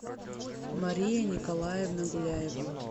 мария николаевна гуляева